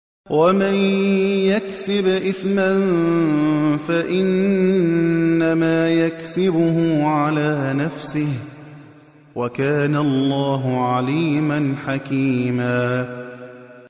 وَمَن يَكْسِبْ إِثْمًا فَإِنَّمَا يَكْسِبُهُ عَلَىٰ نَفْسِهِ ۚ وَكَانَ اللَّهُ عَلِيمًا حَكِيمًا